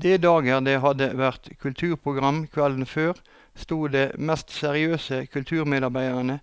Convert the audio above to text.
De dager det hadde vært kulturprogram kvelden før, sto de mest seriøse kulturmedarbeidere